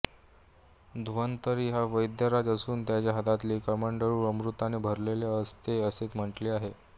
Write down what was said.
धन्वंतरी हा वैद्यराज असून त्याच्या हातातील कमंडलू अमृताने भरलेला असतो असे म्हटले आहे